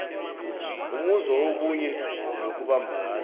umuzwa wobunye nokubumbana